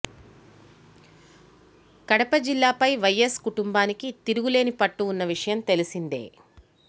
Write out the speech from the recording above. కడపై జిల్లాపై వైఎస్ కుటుంబానికి తిరుగులేని పట్టు ఉన్న విషయం తెలిసిందే